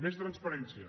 més transparència